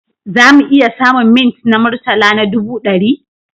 Za mu iya samun mints na murtala na ɗubu ɗari?